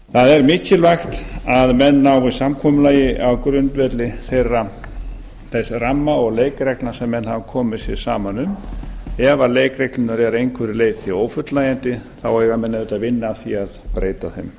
það er mikilvægt að menn nái samkomulagi á grundvelli þess ramma og leikreglna sem menn hafa komið sér saman um ef leikreglurnar eru að einhverju leyti ófullnægjandi eiga menn auðvitað að vinna að því að breyta þeim